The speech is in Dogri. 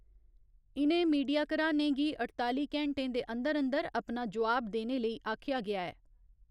इ'नें मीडिया घरानें गी अठताली घैंटें दे अन्दर अन्दर अपना जोआब देने लेई आखेआ गेआ ऐ।